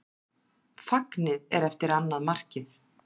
Fagnið er eftir annað markið.